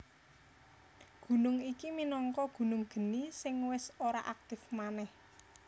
Gunung iki minangka gunung geni sing wis ora aktif manèh